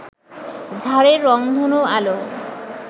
ঝাড়ের রংধনু আলো